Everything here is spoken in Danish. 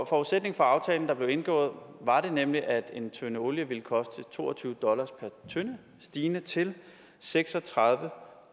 forudsætning for aftalen der blev indgået var nemlig at en tønde olie ville koste to og tyve dollar per tønde stigende til seks og tredive